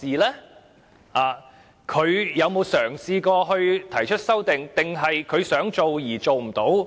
他有否嘗試提出修訂，還是他想做而做不到？